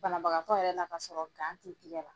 Banabagatɔ yɛrɛ ka sɔrɔ ti tɛgɛ la.